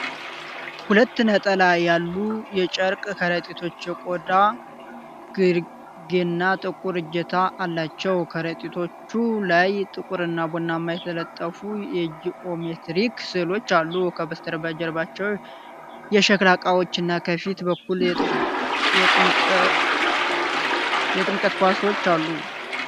ሁለት ነጣ ያሉ የጨርቅ ከረጢቶች የቆዳ ግርጌና ጥቁር እጀታ አላቸው። ከረጢቶቹ ላይ ጥቁርና ቡናማ የተጠለፉ የጂኦሜትሪክ ስዕሎች አሉ። ከበስተጀርባው የሸክላ ዕቃዎች እና ከፊት በኩል የጥምቀት ኳሶች አሉ።